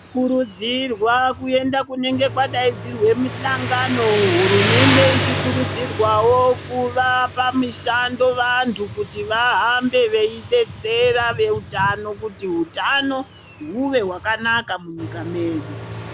Tinokurudzirwa kuenda kunenge kwadaudzirwa mihlangano hurumende yedu ichikurudzirwawo kuva pamushando wevantu kuti vahambe veidetsera vehutano kuti hutano huve hwakanaka munyika medu.